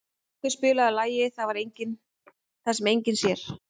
Rökkvi, spilaðu lagið „Það sem enginn sér“.